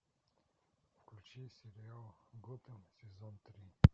включи сериал готэм сезон три